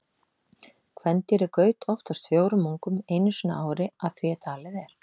Kvendýrið gaut oftast fjórum ungum einu sinni á ári að því er talið er.